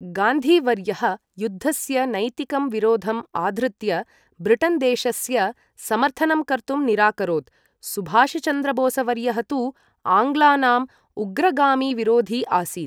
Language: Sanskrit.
गान्धी वर्यः युद्धस्य नैतिकं विरोधम् आधृत्य ब्रिटन् देशस्य समर्थनं कर्तुं निराकरोत्, सुभाषचन्द्रबोस् वर्यः तु आङ्ग्लानाम् उग्रगामिविरोधी आसीत्।